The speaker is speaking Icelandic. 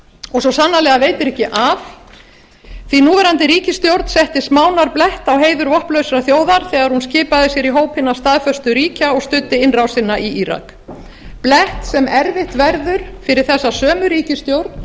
og svo sannarlega veitir ekki af því núverandi ríkisstjórn setti smánarblett á heiður vopnlausrar þjóðar þegar hún skipaði sér í hóp hinna staðföstu ríkja og studdi innrásina í írak blett sem erfitt verður fyrir þessa sömu ríkisstjórn